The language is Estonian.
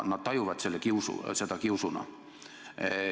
Nad tajuvad seda kiusuna.